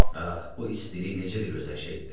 Ah, bu istilik necə də gözəl şey idi.